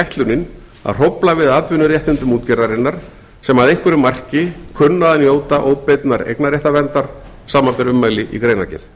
ætlunin að hrófla við atvinnuréttindum útgerðarinnar sem að einhverju marki kunna að njóta óbeinnar eignarréttarverndar samanber ummæli í greinargerð